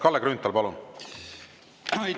Kalle Grünthal, palun!